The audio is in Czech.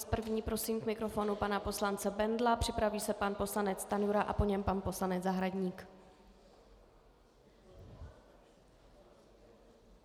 S první prosím k mikrofonu pana poslance Bendla, připraví se pan poslanec Stanjura a po něm pan poslanec Zahradník.